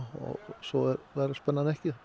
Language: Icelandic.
svo verður spennan ekki